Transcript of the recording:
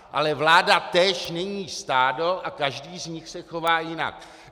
Ale vláda též není stádo a každý z nich se chová jinak.